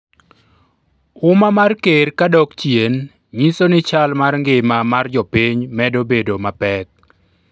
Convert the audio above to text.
umma mar ker ka dok chien nyiso ni chal mar ngima mar jopiny medo bedo mapek